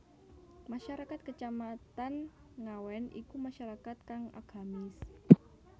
Masyarakat Kacamatan Ngawen iku masyarakat kang agamis